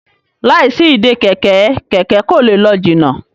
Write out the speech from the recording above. láì sí Ìdè kẹ̀kẹ́, kẹkẹ kò lẹ ló jìnà